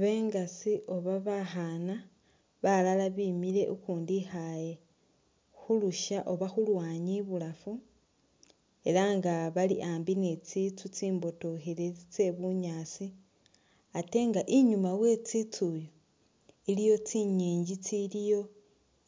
Bengasi oba bakhana balala bemile ukundi ikhale khulusha oba khulwanyi ibulafu ela nga bali ambi ni tsintsu tsi mbotokhelele tse bunyaasi ate nga inyuma we tsitsu yo iliyo tsinyinji tsiliyo